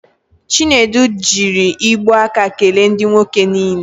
Chinedu jiri igbu aka kele ndị nwoke niile.